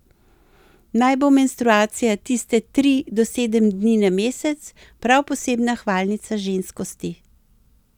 Naj bo menstruacija tiste tri do sedem dni na mesec prav posebna hvalnica ženskosti.